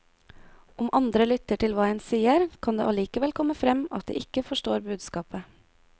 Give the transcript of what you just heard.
Om andre lytter til hva en sier, kan det allikevel komme frem at de ikke forstår budskapet.